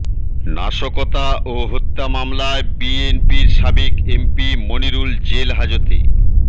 নাশকতা ও হত্যা মামলায় বিএনপির সাবেক এমপি মনিরুল জেল হাজতে